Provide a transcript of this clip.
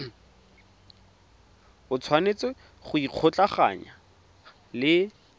o tshwanetse go ikgolaganya le